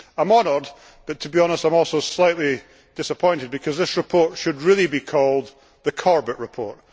I am honoured, but to be honest, I am also slightly disappointed, because this report should really be called the Corbett report.